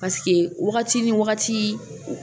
Paseke wagati ni wagati